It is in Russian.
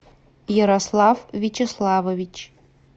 ярослав вячеславович